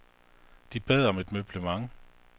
De bad om et møblement.